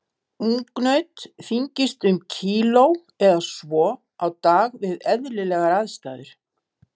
Ungnaut þyngist um kíló eða svo á dag við eðlilegar aðstæður.